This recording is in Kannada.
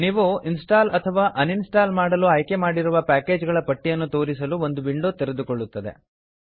ನೀವು ಇನ್ಸ್ಟಾಲ್ ಅಥವಾ ಅನ್ ಇನ್ಸ್ಟಾಲ್ ಮಾಡಲು ಆಯ್ಕೆ ಮಾಡಿರುವ ಪ್ಯಾಕೇಜ್ ಗಳ ಪಟ್ಟಿಯನ್ನು ತೋರಿಸಲು ಒಂದು ವಿಂಡೋ ತೆರೆದುಕೊಳ್ಳುತ್ತದೆ